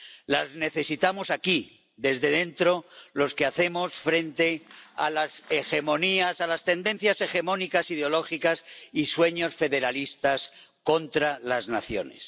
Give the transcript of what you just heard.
Las necesitamos aquí, desde dentro, los que hacemos frente a las hegemonías, a las tendencias hegemónicas ideológicas y los sueños federalistas contra las naciones.